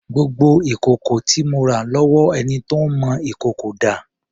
Gbogbo ìkòkò tí mo rà lọ́wọ́ ẹni tó ń mọ ìkòkò dà?